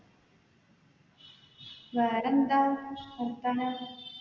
വേറെ എന്താ വർത്താനം